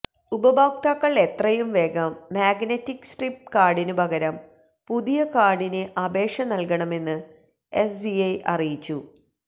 ഉപഭോക്താക്കൾ എത്രയും വേഗം മാഗ്നെറ്റിക് സ്ട്രിപ്പ് കാർഡിനു പകരം പുതിയ കാർഡിന് അപേക്ഷ നൽകണമെന്ന് എസ്ബിഐ അറിയിച്ചു